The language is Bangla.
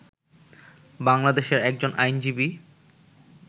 বাংলাদেশের একজন আইনজীবী